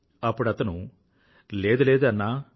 అప్పుడతను లేదు లేదు అన్నా